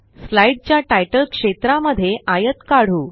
slide च्या तितले क्षेत्रा मध्ये आयत काढू